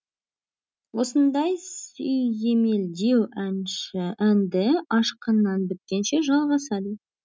осындай сүйемелдеу әнші әнді ашқаннан біткенше жалғасады